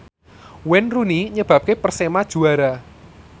Wayne Rooney nyebabke Persema juara